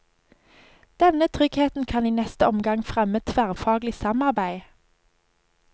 Denne tryggheten kan i neste omgang fremme tverrfaglig samarbeid.